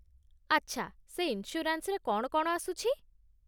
ଆଚ୍ଛା, ସେ ଇନ୍ସ୍ୟୁରାନ୍ସରେ କ'ଣ କ'ଣ ଆସୁଚି?